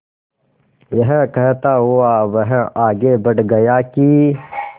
यह कहता हुआ वह आगे बढ़ गया कि